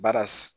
Baara